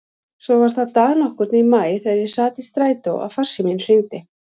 Svo var það dag nokkurn í maí þegar ég sat í strætó að farsíminn hringdi.